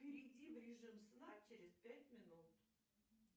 перейди в режим сна через пять минут